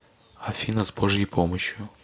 афина с божьей помощью